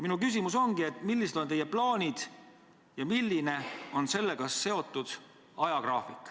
Minu küsimus ongi: millised on teie plaanid ja milline on nendega seotud ajagraafik.